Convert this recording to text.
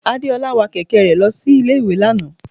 Adeola wa kẹkẹ re losí Ilé ìwè Lana.